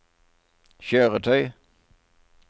kjøretøy